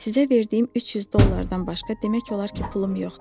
Sizə verdiyim 300 dollardan başqa demək olar ki, pulum yoxdur.